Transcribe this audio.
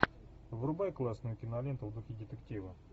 врубай классную киноленту в духе детектива